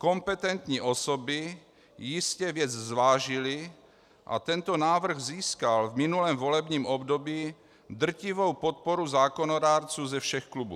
Kompetentní osoby jistě věc zvážily a tento návrh získal v minulém volebním období drtivou podporu zákonodárců ze všech klubů.